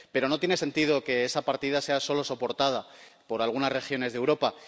Pero no tiene sentido que esa partida sea solo soportada por algunas regiones de Europa.